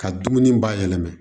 Ka dumuni bayɛlɛma